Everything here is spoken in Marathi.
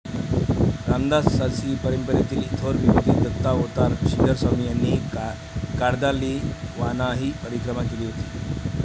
रामदासी परंपरेतील थोर विभूती दत्तावतार श्रीधरस्वामी यांनीही कार्दालीवानाही परिक्रमा केली होती.